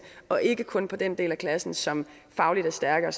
og ikke kun på den del af klassen som fagligt er stærkere